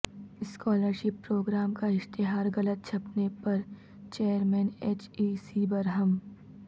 scholar شپ programme کا اشتہار غلط چھپنے پرچئیرمین ایچ ای سی برہم